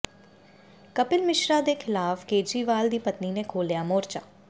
ਕਪਿਲ ਮਿਸ਼ਰਾ ਖ਼ਿਲਾਫ਼ ਕੇਜਰੀਵਾਲ ਦੀ ਪਤਨੀ ਨੇ ਖੋਲਿਆ ਮੋਰਚਾ